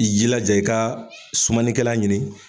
I jilaja i ka sumanikɛla ɲini